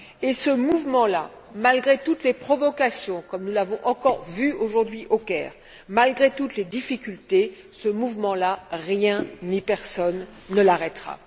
Et ce mouvement là, malgré toutes les provocations, comme nous l'avons vu encore aujourd'hui au Caire, malgré toutes les difficultés, rien ni personne ne l'arrêtera.